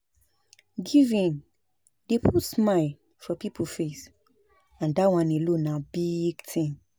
Giving dey put smile for people face and dat one alone na big thing